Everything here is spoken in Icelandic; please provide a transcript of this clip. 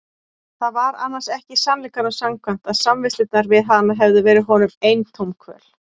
Það var annars ekki sannleikanum samkvæmt að samvistirnar við hana hefðu verið honum eintóm kvöl.